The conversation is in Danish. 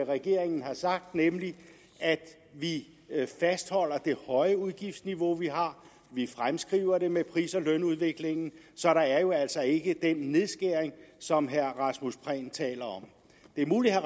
regeringen har sagt nemlig at vi fastholder det høje udgiftsniveau vi har vi fremskriver det med pris og lønudviklingen så der er jo altså ikke den nedskæring som herre rasmus prehn taler om det er muligt at